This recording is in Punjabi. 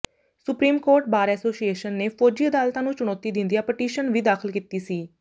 ਸੁਪਰੀਮ ਕੋਰਟ ਬਾਰ ਐਸੋਸੀਏਸ਼ਨ ਨੇ ਫ਼ੌਜੀ ਅਦਾਲਤਾਂ ਨੂੰ ਚੁਣੌਤੀ ਦਿੰਦਿਆਂ ਪਟੀਸ਼ਨ ਵੀ ਦਾਖ਼ਲ ਕੀਤੀ ਸੀ